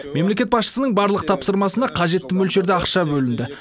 мемлекет басшысының барлық тапсырмасына қажетті мөлшерде ақша бөлінді